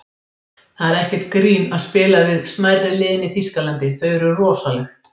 Það er ekkert grín að spila við smærri liðin í Þýskalandi, þau eru rosaleg.